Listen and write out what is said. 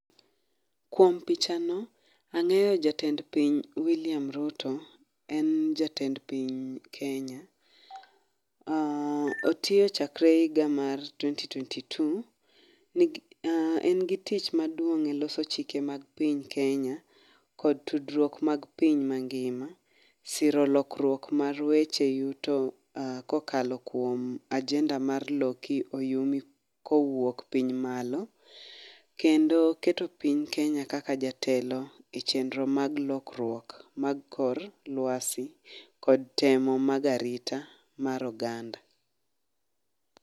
Kuom pichano, ang'eyo jatend piny William Ruto, en jatend piny Kenya. um otiyo chakre higa mar twenty twenty two, Nigi um en gi tich maduong' e loso chike mag piny Kenya, kod tudruok mag piny mangima, siro lokruok mar weche yuto um kokalo kuom agenda mar loki oyumi kowuok piny malo, kendo keto piny Kenya kaka jatelo e chendro mag lokruok mag kor lwasi kod temo mag arita mar oganda